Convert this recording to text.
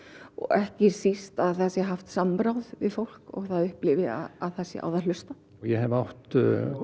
ekki síst að það sé haft samráð við fólk og það upplifi að það sé á það hlustað ég hef átt